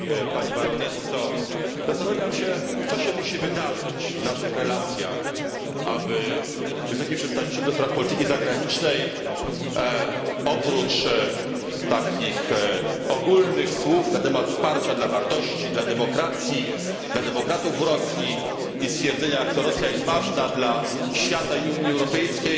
Pani Baronesso! Zastanawiam się, co się musi wydarzyć w naszych relacjach, aby Wysoka Przedstawiciel do Spraw Polityki Zagranicznej oprócz takich ogólnych słów na temat wsparcia dla wartości, demokracji, demokratów w Rosji i stwierdzenia, jak to Rosja jest ważna dla świata i Unii Europejskiej